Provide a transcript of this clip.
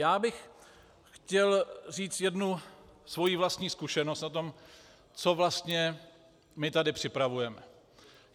Já bych chtěl říct jednu svoji vlastní zkušenost o tom, co vlastně my tady připravujeme.